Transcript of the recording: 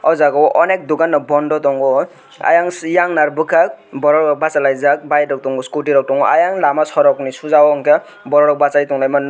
aw jaaga o onek dukan no bondo tongo aiang eiang nar bukak oro bo basalaijak bike rok tongo scooty rok tongo eiang lama sorok ni suja o unke borok bachai tonglai ma nug.